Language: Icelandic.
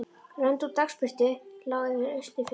Rönd úr dagsbirtu lá yfir austurfjöllum.